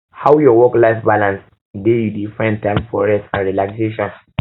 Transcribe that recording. how your worklife balance dey you dey find time for rest and relaxation